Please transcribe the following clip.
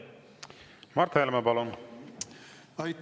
Mart Helme, palun!